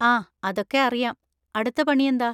ആ അതൊക്കെ അറിയാം. അടുത്ത പണി എന്താ?